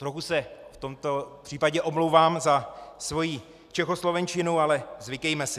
Trochu se v tomto případě omlouvám za svoji čechoslovenčinu, ale zvykejme si: